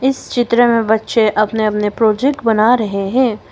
इस चित्र में बच्चे अपने अपने प्रोजेक्ट बना रहे हैं।